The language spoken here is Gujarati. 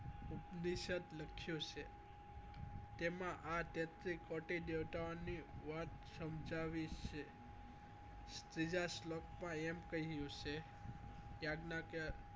ઉપદેશ્ય લક્ષ્ય છે તેમાં આ તેત્રી કોટી દેવતા ઓ ની વાત સમજાવવી છે ત્રીજા શ્લોક માં એમ કહ્યું છે યાગ્ના કે